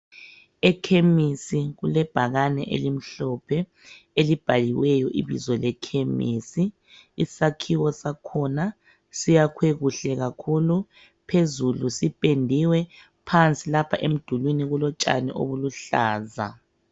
Ekhemisi kule bhakane elimhlophe elibhaliweyo ibizo lekhemisi isakhiwo sakhona siyakwe kuhle kakhulu phezulu sipendiwe phansi lapha emdulwini kulotshani obuluhlaza.